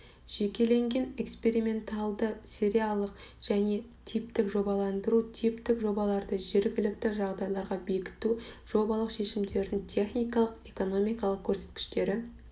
жекеленген эксперименталды сериялық және типтік жобаландыру типтік жобаларды жергілікті жағдайларға бекіту жобалық шешімдердің техникалық экономикалық көрсеткіштері